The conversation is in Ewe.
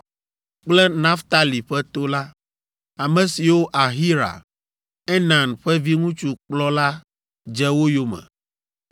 kple Naftali ƒe to la, ame siwo Ahira, Enan ƒe viŋutsu kplɔ la dze wo yome.